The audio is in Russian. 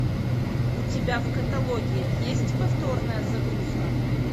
у тебя в каталоге есть повторная загрузка